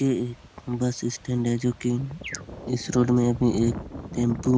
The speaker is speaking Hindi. ये एक बस स्टैंड है जो की इस रोड में भी एक टेम्पो